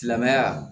Silamɛmɛya